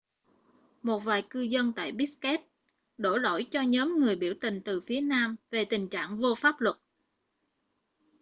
một vài cư dân tại bishkek đổ lỗi cho nhóm người biểu tình từ phía nam về tình trạng vô pháp luật